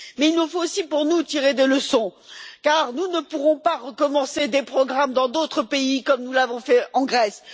Mais il nous faut aussi, pour nous, tirer des leçons, car nous ne pourrons pas recommencer des programmes dans d'autres pays comme nous l'avons fait en Grèce.